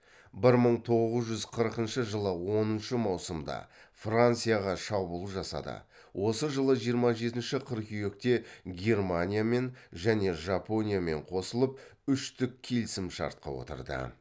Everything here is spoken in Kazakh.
бір мың тоғыз жүз қырқыншы жылы оныншы маусымда францияға шабуыл жасады осы жылы жиырма жетінші қыркүйекте германиямен және жапониямен қосылып үштік келісімшартқа отырды